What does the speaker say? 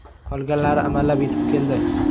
Qolganlari amallab yetib keldi.